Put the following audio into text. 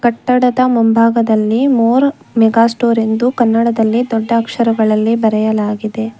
ಕಟ್ಟಡದ ಮುಂಭಾಗದಲ್ಲಿ More mega store ಎಂದು ಕನ್ನಡದಲ್ಲಿ ದೊಡ್ಡ ಅಕ್ಷರಗಳಲ್ಲಿ ಬರೆಯಲಾಗಿದೆ.